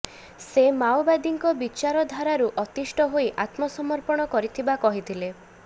ସେ ମାଓବାଦୀଙ୍କ ବିଚାରଧାରାରୁ ଅତିଷ୍ଠ ହୋଇ ଆତ୍ମସମର୍ପଣ କରିଥିବା କହିଥିଲେ